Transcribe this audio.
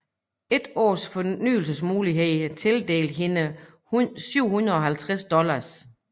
Et års fornyelsesmuligheder tildelte hende 750 dollars